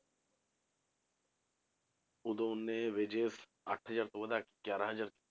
ਉਦੋਂ ਉਨੇ wages ਅੱਠ ਹਜ਼ਾਰ ਤੋਂ ਵਧਾ ਕੇ ਗਿਆਰਾਂ ਹਜ਼ਾਰ